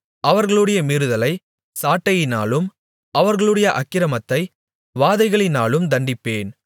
அவர்களுடைய மீறுதலை சாட்டையினாலும் அவர்களுடைய அக்கிரமத்தை வாதைகளினாலும் தண்டிப்பேன்